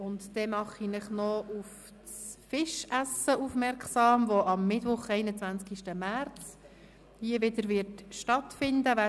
Weiter mache ich Sie noch auf das Fischessen aufmerksam, welches am Mittwoch, den 21. März, hier wieder stattfinden wird.